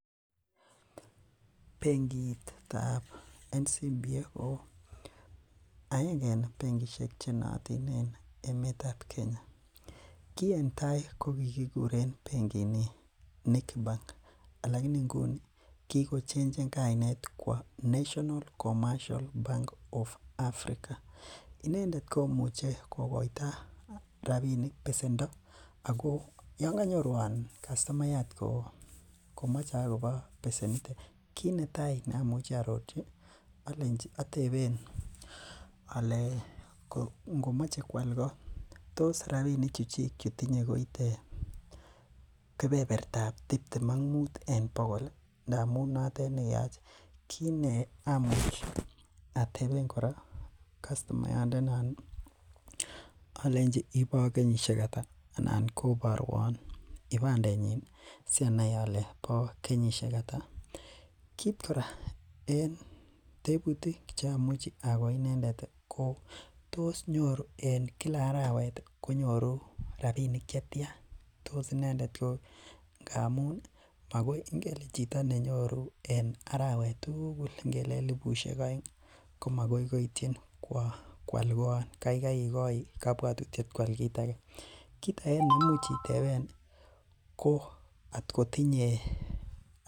Bengiitab National commercial Bank of Africa ko aenge en bengishek chenaatin en emeet ki en tai ko kikuren bengiit niton Nic bank alaini nguni kikochenchen kainet kwo national commercial Bank of Africa inendet komeche kokoita rabinik besendo ago yaan kanyoruan kastomayat ko mache agobo besenitet kit netai neamiche aarorchi ateben ale kot komache koal kot tos rabinik chchik chutinye koit kebebertab tiptem ak miten bogol ih ngamuun notet neyache kit nekamuch ateben kora kastomayat ndeni alenchi ibo kenyisiek ata anan kobaruan ibandet nyin si anai ale bo kenyisiek ata kit kora en tetutik cheyache agoi inendet ko tos nyoru en Kila arawet konyoru rabinik che tian tos inendet ko chito ne nyoru en arawet tugul ingele elibusiek aeng komagoi koityi. Koal koan kaikai igoite kabuatutiet kual kit age kit age neimuch iteben ih .